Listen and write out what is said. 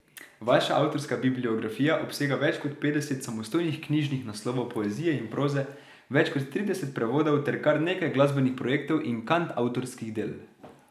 Vaša avtorska bibliografija obsega več kot petdeset samostojnih knjižnih naslovov poezije in proze, več kot trideset prevodov ter kar nekaj glasbenih projektov in kantavtorskih del.